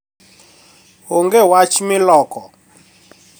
Onge wach miloko